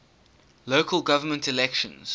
local government elections